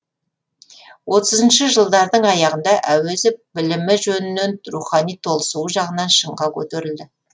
отызыншы жылдардың аяғында әуезов білімі жөнінен рухани толысуы жағынан шыңға көтерілді